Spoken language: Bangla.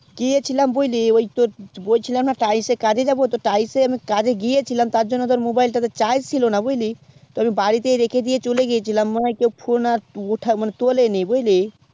গিয়েছিলাম বুঝলি বলছিলাম যে আমি তোর tice কাজে যাবো তো আমি তাইসে কাজে গিয়েছিলাম তার জন্য আমি mobile টাতে charge ছিল না বুঝলি তো আমি বাড়িতে রেখে দিয়ে চলে গিয়েছিলাম phone তোলেনি বুঝলি